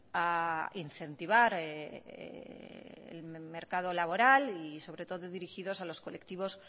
a incentivar el mercado laboral y sobre todo dirigidos a los colectivos